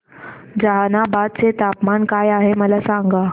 जहानाबाद चे तापमान काय आहे मला सांगा